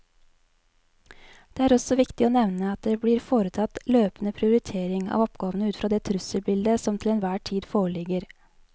Det er også viktig å nevne at det blir foretatt løpende prioritering av oppgavene ut fra det trusselbildet som til enhver tid foreligger.